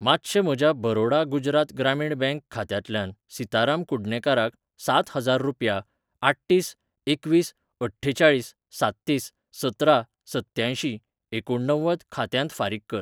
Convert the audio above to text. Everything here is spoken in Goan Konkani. मातशें म्हज्या बरोडा गुजरात ग्रामीण बँक खात्यांतल्यान सिताराम कुडणेकाराक सात हजार रुपया आठतीस एकवीस अठ्ठेचाळीस साततीस सतरा सत्त्यांयशीं एकुणणव्वद खात्यांत फारीक कर. .